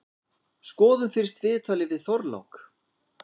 Skoðum fyrst viðtalið við Þorlák.